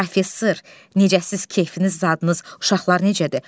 Professor necəsiz, kefiniz zadınız, uşaqlar necədir?